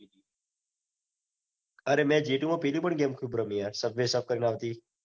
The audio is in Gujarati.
આઈપી તી અરે જે તું માં પેલી પણ ગેમ ખુબ રમી યાર સબવે સફર આવતી